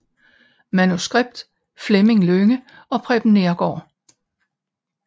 Manuskript Fleming Lynge og Preben Neergaard